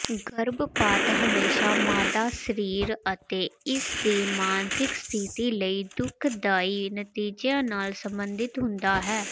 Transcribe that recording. ਗਰਭਪਾਤ ਹਮੇਸ਼ਾਂ ਮਾਦਾ ਸਰੀਰ ਅਤੇ ਇਸਦੀ ਮਾਨਸਿਕ ਸਥਿਤੀ ਲਈ ਦੁਖਦਾਈ ਨਤੀਜਿਆਂ ਨਾਲ ਸੰਬੰਧਿਤ ਹੁੰਦਾ ਹੈ